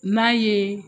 N'a ye